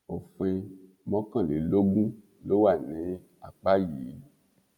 òfin mọkànlélógún ló wà ní apá yìí